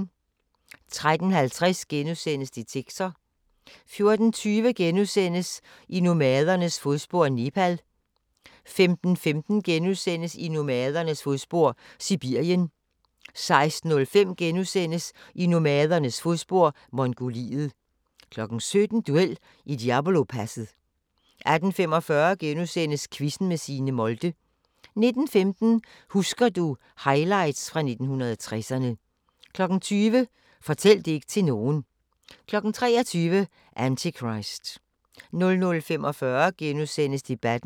13:50: Detektor * 14:20: I nomadernes fodspor: Nepal * 15:15: I nomadernes fodspor: Sibirien * 16:05: I nomadernes fodspor: Mongoliet * 17:00: Duel i Diablopasset 18:45: Quizzen med Signe Molde * 19:15: Husker du – Highlights fra 1960'erne 20:00: Fortæl det ikke til nogen 23:00: Antichrist 00:45: Debatten *